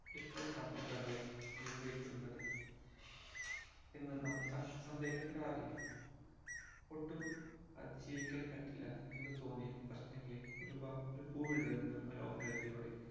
ഇത്തരം സന്ദർഭങ്ങളിൽ നിയന്ത്രിക്കുന്നത് എന്ന് നമ്മൾ സന് സന്ദേഹപ്പെടാറില്ലേ ഒട്ടും അതി ജീവിക്കാൻ പറ്റില്ല എന്ന് തോന്നിയ പ്രശ്നങ്ങളെ ഒരുപ ഒരു പൂ വിടരുന്ന മനോഹാരിതയോടെ